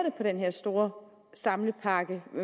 en stor samlepakke